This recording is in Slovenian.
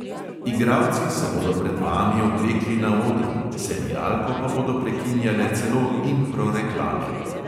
Igralci se bodo pred vami oblekli na odru, serialko pa bodo prekinjale celo impro reklame.